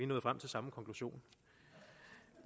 nået frem til samme konklusion